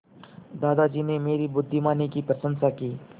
दादाजी ने मेरी बुद्धिमानी की प्रशंसा की